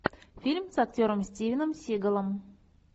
фильм с актером стивеном сигалом